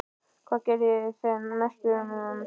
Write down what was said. Hvað gerir þær að meisturum?